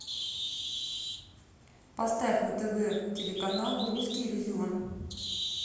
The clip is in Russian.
поставь на тв телеканал русский иллюзион